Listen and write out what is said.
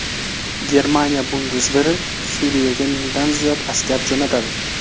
Germaniya bundesveri Suriyaga mingdan ziyod askar jo‘natadi.